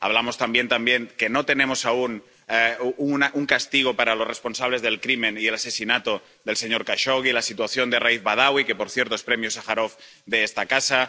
hablamos también de que no tenemos aún un castigo para los responsables del crimen y el asesinato del señor Jashogui, de la situación de Raif Badawi, que por cierto es Premio Sájarov de esta casa.